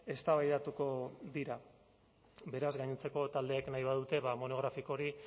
eztabaidatuko dira beraz gainontzeko taldeek nahi badute monografiko hori